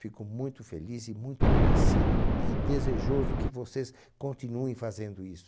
Fico muito feliz e muito agradecido e desejoso que vocês continuem fazendo isso.